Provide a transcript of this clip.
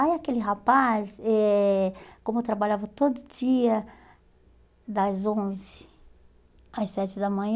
Aí aquele rapaz, eh como eu trabalhava todo dia das onze às sete da manhã,